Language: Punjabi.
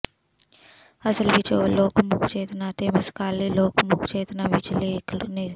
ਅਸਲ ਵਿੱਚ ਉਹ ਲੋਕ ਮੁੱਖ ਚੇਤਨਾ ਅਤੇ ਸਮਕਾਲੀ ਲੋਕਮੁੱਖ ਚੇਤਨਾ ਵਿਚਲੇ ਇੱਕ ਨਿਰ